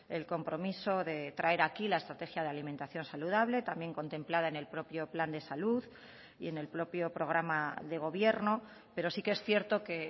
el compromiso de traer aquí la estrategia de alimentación saludable también contemplada en el propio plan de salud y en el propio programa de gobierno pero sí que es cierto que